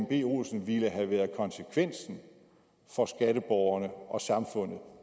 b olsen ville have været konsekvensen for skatteborgerne og samfundet